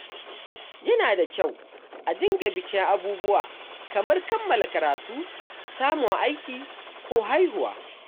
Yana da kyau a dinga bikin abubuwa kamar kammala karatu, samun aiki, ko haihuwa.